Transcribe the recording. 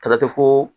Kala te ko